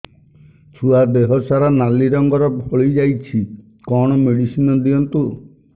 ଛୁଆ ଦେହ ସାରା ନାଲି ରଙ୍ଗର ଫଳି ଯାଇଛି କଣ ମେଡିସିନ ଦିଅନ୍ତୁ